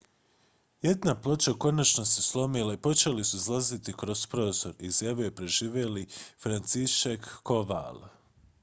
jedna ploča konačno se slomila i počeli su izlaziti kroz prozor izjavio je preživjeli franciszek kowal